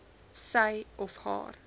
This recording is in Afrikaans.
sy of haar